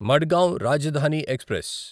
Madgaon Rajdhani express